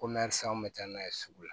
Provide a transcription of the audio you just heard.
Ko mɛ san anw kun bɛ taa n'a ye sugu la